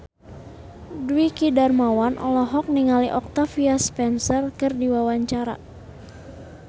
Dwiki Darmawan olohok ningali Octavia Spencer keur diwawancara